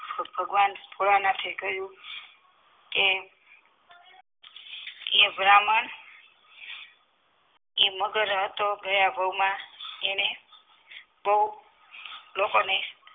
તો ભગવાન ભોળાનાથે કહ્યું કે એ બ્રાહ્મણ એ મગર હતો ગયા અણે બો લોકોને